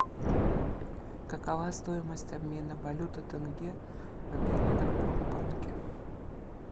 какова стоимость обмена валюты тенге в белагропромбанке